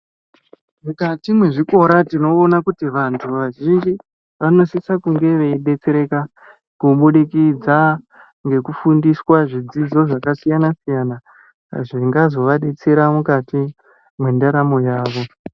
Mukati mwezvikora tinoona kuti vantu vazhinji vanosise kunge veidetsereka kubudikidza ngekufundiswa zvidzidzo zvakasiyana siyana zvingazovadetsera mukati mwendaramo yavo.